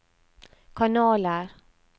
kanaler